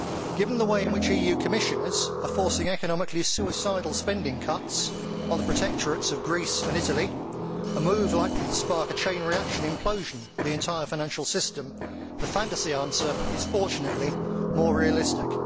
Given the way in which EU Commissioners are forcing economically suicidal spending cuts on the protectorates of Greece and Italy a move likely to spark a chain reaction implosion of the entire financial system the fantasy answer is fortunately the more realistic.